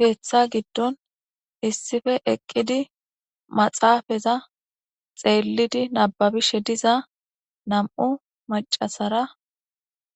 heeththa giddon issife eqqidi maxaafaza xeellidi nababishe diza nam7u macasara